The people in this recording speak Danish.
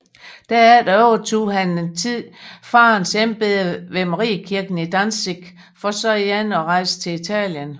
Derefter overtog han en tid faderens embede ved Mariekirken i Danzig for så igen at rejse til Italien